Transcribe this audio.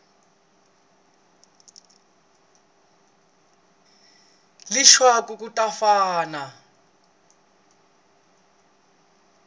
leswaku ku ta va na